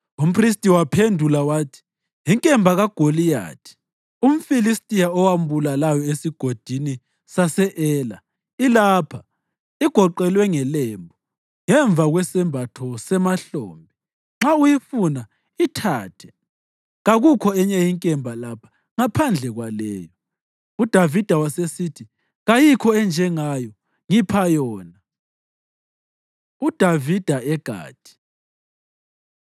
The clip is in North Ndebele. Umphristi waphendula wathi, “Inkemba kaGoliyathi umFilistiya owambulalayo eSigodini sase-Ela, ilapha; igoqelwe ngelembu ngemva kwesembatho semahlombe. Nxa uyifuna, ithathe; kakukho enye inkemba lapha ngaphandle kwaleyo.” UDavida wasesithi, “Kayikho enjengayo; ngipha yona.” UDavida EGathi